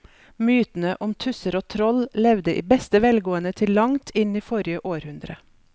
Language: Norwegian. Mytene om tusser og troll levde i beste velgående til langt inn i forrige århundre.